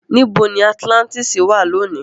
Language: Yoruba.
Níbo ni Atilántísì wà lónìí?